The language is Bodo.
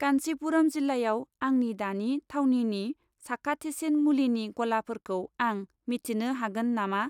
कान्चीपुराम जिल्लायाव आंनि दानि थावनिनि साखाथिसिन मुलिनि गलाफोरखौ आं मिथिनो हागोन नामा ?